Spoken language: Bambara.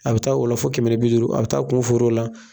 A bɛ taa o la fo kɛmɛ ni bi duuru, a bɛ taa kun feer'o la.